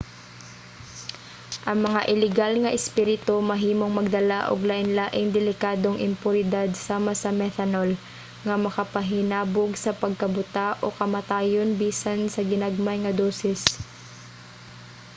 ang mga ilegal nga espirito mahimong magdala og lain-laing delikadong impuridad sama sa methanol nga makapahinabog sa pagkabuta o kamatayon bisan sa ginagmay nga dosis